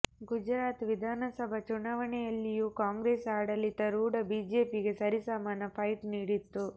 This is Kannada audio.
ಗುಜರಾತ್ ವಿಧಾನಸಭಾ ಚುನಾವಣೆಯಲ್ಲಿಯೂ ಕಾಂಗ್ರೆಸ್ ಆಡಳಿತರೂಢ ಬಿಜೆಪಿಗೆ ಸರಿಸಮಾನ ಫೈಟ್ ನೀಡಿತ್ತು